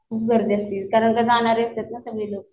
खूप गर्दी असती कारण की जाणारे असतात ना सगळे जण